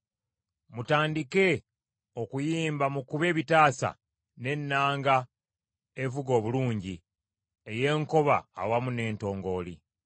Mutandike okuyimba, mukube ebitaasa n’ennanga evuga obulungi ey’enkoba awamu n’entongooli.